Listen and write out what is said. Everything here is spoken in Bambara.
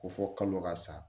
Ko fɔ kalo ka sa